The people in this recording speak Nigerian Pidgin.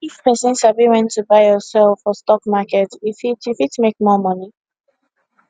if person sabi when to buy or sell for stock market e fit e fit make more money